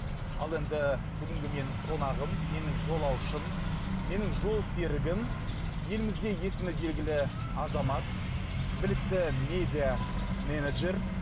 ал енді бүгінгі менің қонағым менің жолаушым менің жолсерігім елімізге есімі белгілі азамат білікті медиаменеджер